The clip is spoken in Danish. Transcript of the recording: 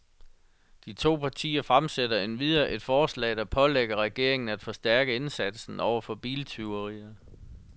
De to partier fremsætter endvidere et forslag, der pålægger regeringen af forstærke indsatsen over for biltyverier.